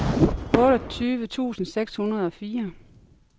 otteogtyve tusind seks hundrede og fire